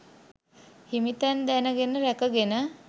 හිමි තැන් දැනගෙන රැක ගෙන